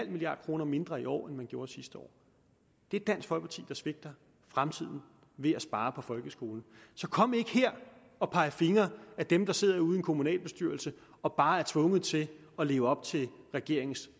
milliard kroner mindre i år end man gjorde sidste år det er dansk folkeparti der svigter fremtiden ved at spare på folkeskolen så kom ikke her og peg fingre ad dem der sidder ude i en kommunalbestyrelse og bare er tvunget til at leve op til regeringen